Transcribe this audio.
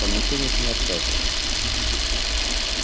вам никто в них не отказывает